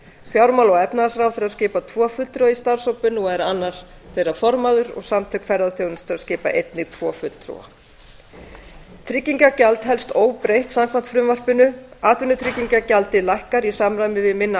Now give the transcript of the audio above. fjármála og efnahagsráðherra skipar tvo fulltrúa í starfshópinn og er annar formaður samtök ferðaþjónustunnar skipa einnig tvo fulltrúa í starfshópinn tryggingagjald helst óbreytt samkvæmt frumvarpinu atvinnutryggingagjaldið lækkar í samræmi við minna